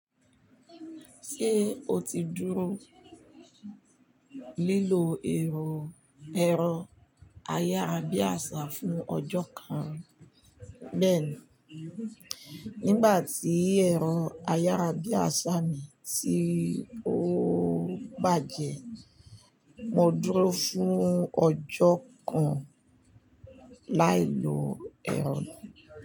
Ṣé o ti dúró lílò ẹ̀rọ ayárabíàṣá fún ọjọ́ kan bẹ́ẹ̀ni, nígbà tí ẹ̀rọ ayárabíàṣá mi tí ó bàjẹ́, mo dúró fún ọjọ́ kan láì lo ẹ̀rọ náà.